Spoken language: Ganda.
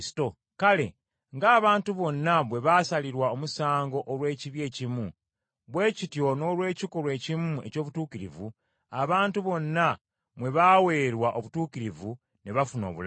Kale ng’abantu bonna bwe baasalirwa omusango olw’ekibi ekimu, bwe kityo n’olw’ekikolwa ekimu eky’obutuukirivu abantu bonna mwe baaweerwa obutuukirivu ne bafuna obulamu.